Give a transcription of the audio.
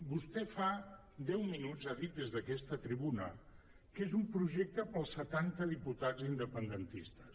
vostè fa deu minuts ha dit des d’aquesta tribuna que és un projecte per als setanta diputats independentistes